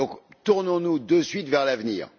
Donc, tournons nous de suite vers l'avenir.